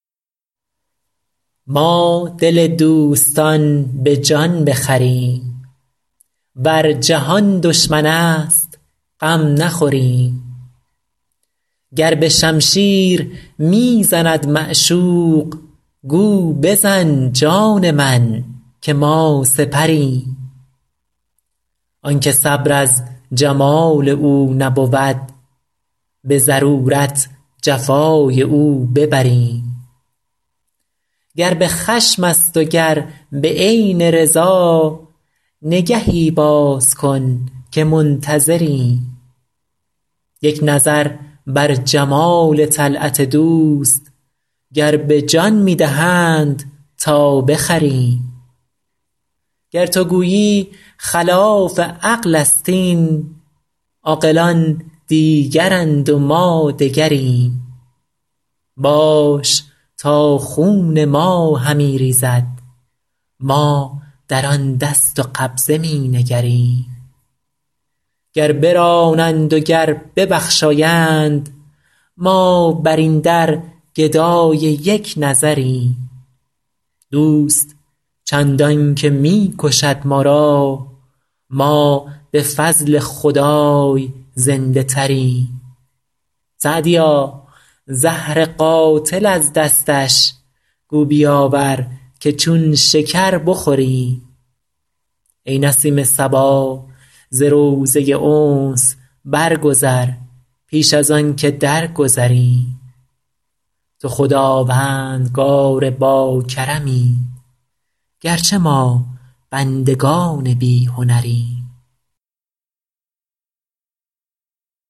ما دل دوستان به جان بخریم ور جهان دشمن است غم نخوریم گر به شمشیر می زند معشوق گو بزن جان من که ما سپریم آن که صبر از جمال او نبود به ضرورت جفای او ببریم گر به خشم است و گر به عین رضا نگهی باز کن که منتظریم یک نظر بر جمال طلعت دوست گر به جان می دهند تا بخریم گر تو گویی خلاف عقل است این عاقلان دیگرند و ما دگریم باش تا خون ما همی ریزد ما در آن دست و قبضه می نگریم گر برانند و گر ببخشایند ما بر این در گدای یک نظریم دوست چندان که می کشد ما را ما به فضل خدای زنده تریم سعدیا زهر قاتل از دستش گو بیاور که چون شکر بخوریم ای نسیم صبا ز روضه انس برگذر پیش از آن که درگذریم تو خداوندگار باکرمی گر چه ما بندگان بی هنریم